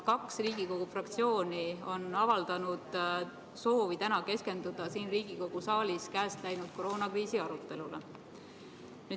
Kaks Riigikogu fraktsiooni on avaldanud soovi täna Riigikogu saalis keskenduda käest läinud koroonakriisi arutelule.